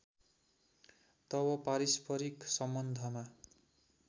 तब पारस्परिक सम्बन्धमा